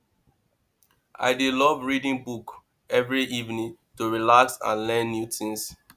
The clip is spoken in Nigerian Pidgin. i dey love reading book every evening to relax and learn new things